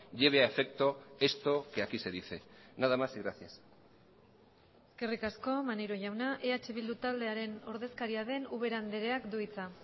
lleve a efecto esto que aquí se dice nada más y gracias eskerrik asko maneiro jauna eh bildu taldearen ordezkaria den ubera andreak du hitza